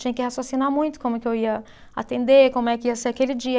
Tinha que raciocinar muito como que eu ia atender, como é que ia ser aquele dia.